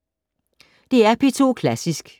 DR P2 Klassisk